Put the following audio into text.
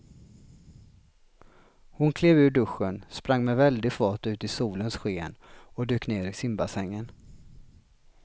Hon klev ur duschen, sprang med väldig fart ut i solens sken och dök ner i simbassängen.